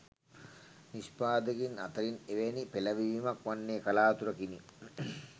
නිෂ්පාදකයින් අතරින් එවැනි පෙලඹවීමක් වන්නේ කලාතුරකිනි.